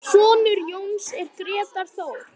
Sonur Jóns er Grétar Þór.